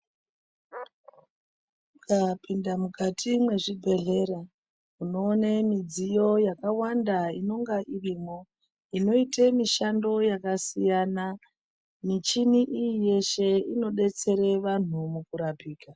Ukapinda mukati mwezvibhedhlera, unoone midziyo yakawanda inonga irimwo inoite mishando yakasiyana. Michini iyi yeshe inodetsera vanhu mukurapika.